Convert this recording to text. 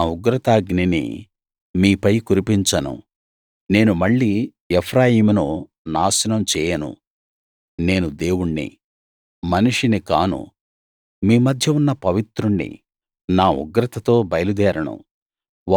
నా ఉగ్రతాగ్నిని మీపై కురిపించను నేను మళ్లీ ఎఫ్రాయిమును నాశనం చేయను నేను దేవుణ్ణి మనిషిని కాను మీ మధ్య ఉన్న పవిత్రుణ్ణి నా ఉగ్రతతో బయలుదేరను